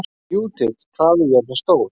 Júdit, hvað er jörðin stór?